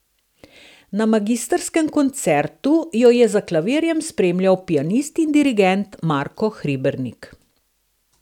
Na magistrskem koncertu jo je za klavirjem spremljal pianist in dirigent Marko Hribernik.